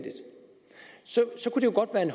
man